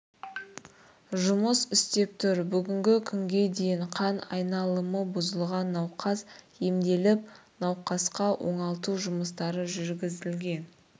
жұмыс істеп тұр бүгінгі күнге дейін қан айналымы бұзылған науқас емделіп науқасқа оңалту жұмыстары жүргізілген